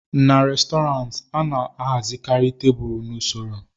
n'Restọrantị, a na-ahazikarị tebụl n'usoro